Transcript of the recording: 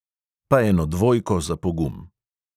Pa eno dvojko za pogum.